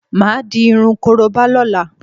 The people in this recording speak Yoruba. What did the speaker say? Máà di irun korobá lọ́la